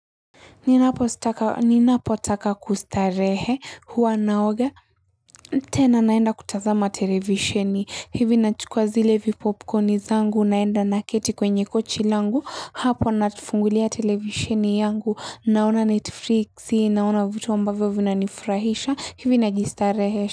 Ninapo sitaka ninapotaka kustarehe huwa naoga tena naenda kutazama televisheni hivi nachukua zile vipopkoni zangu naenda naketi kwenye kochi langu hapo nafungulia televisheni yangu naona netflix naona vitu ambavyo vina nifurahisha hivi najistarehesha.